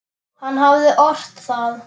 Hann hafði ort það.